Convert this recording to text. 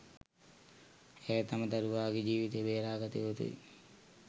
ඇය තම දරුවාගේ ජීවිතය බේරා ගත යුතුයි.